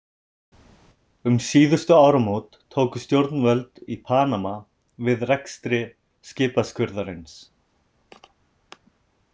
Um síðustu áramót tóku stjórnvöld í Panama við rekstri skipaskurðarins.